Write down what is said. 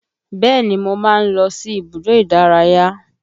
Bẹ́ẹ̀ni mo máa ń lọ sí ibùdó ìdárayá